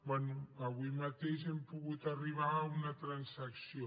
bé avui mateix hem pogut arribar a una transacció